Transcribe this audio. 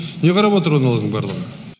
не қарап отыр аналардың барлығы